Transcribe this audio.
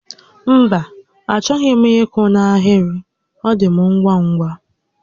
Mba, achọghị m ị́kwụ́ n'ahịrị, ọ dị m ngwa ngwa